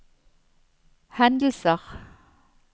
hendelser